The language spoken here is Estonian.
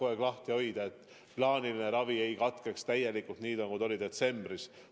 Oleme püüdnud tagada, et plaaniline ravi ei katkeks täielikult, nii nagu see oli detsembris.